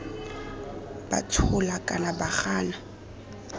ba tshola kana ba gana